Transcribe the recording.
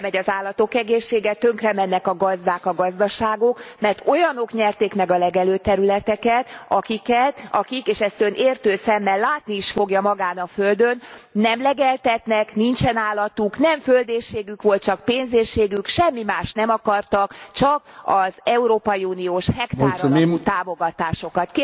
Tönkremegy az állatok egészsége, tönkremennek a gazdák, a gazdaságok, mert olyanok nyerték meg a legelőterületeket, akik és ezt Ön értő szemmel látni is fogja magán a földön nem legeltetnek, nincsen állatuk, nem földéhségük volt, csak pénzéhségük, semmi mást nem akartak, csak az európai uniós hektáralapú támogatásokat.